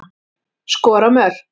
Skora mörk.